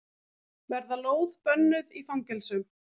Verða lóð bönnuð í fangelsum